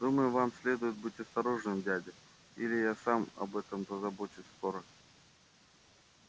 думаю вам следует быть осторожным дядя или я сам об этом позабочусь скоро